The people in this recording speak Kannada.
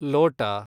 ಲೋಟ